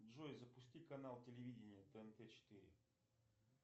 джой запусти канал телевидения тнт четыре